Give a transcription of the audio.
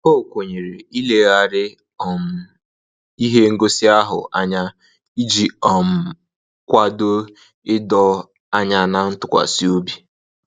O kwenyere ileghari um ihe ngosi ahụ anya, iji um kwado ịdọ anya na ntụkwasịobi